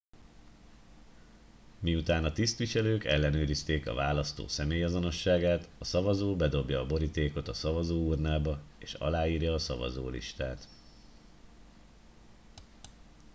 miután a tisztviselők ellenőrizték a választó személyazonosságát a szavazó bedobja a borítékot a szavazóurnába és aláírja a szavazólistát